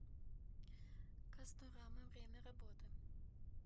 касторама время работы